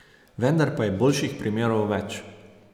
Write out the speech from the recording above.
Vendar pa je boljših primerov več.